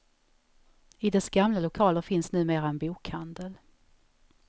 I dess gamla lokaler finns numera en bokhandel.